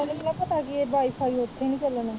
ਪਤਾ ਕਿ ਵਾਈਫਾਈ ਉਥੇ ਨੀ ਚਲਨਾ